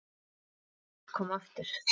Þá vill fólk koma aftur.